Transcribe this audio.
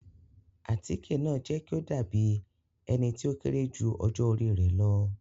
Àtike naa jẹ ki o dabi ẹni ti o kere ju ọjọ ori rẹ lọ